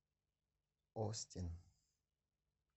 остин